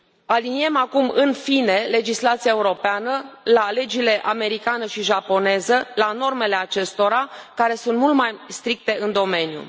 Aliniem acum, în fine, legislația europeană la legile americană și japoneză, la normele acestora, care sunt mult mai stricte în domeniu.